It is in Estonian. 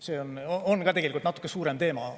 See on ka tegelikult natukene laiem teema.